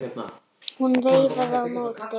Hún veifaði á móti.